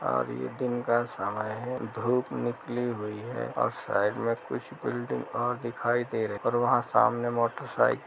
और ये दिन का समय है धुप निकली हुई हैऔर साइड में कुछ बिल्डिंग और दिखाई और वहाँ सामने मोटरसाइकिल ।